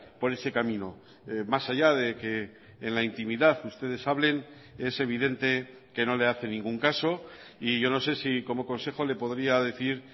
por ese camino más allá de que en la intimidad ustedes hablen es evidente que no le hace ningún caso y yo no sé si como consejo le podría decir